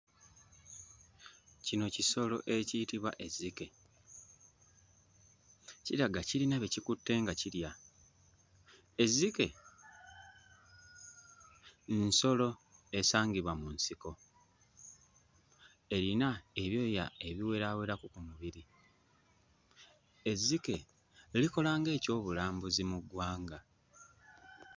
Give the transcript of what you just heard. Kino kisolo ekiyitibwa ezzike kiraga kirina bye kikutte nga kirya. Ezzike nsolo esangibwa mu nsiko. Erina ebyoya ebiweraawerako ku mubiri. Ezzike likola ng'ekyobulambuzi mu ggwanga.